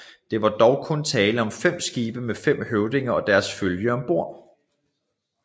Det var dog kun tale om fem skibe med fem høvdinger og deres følge om bord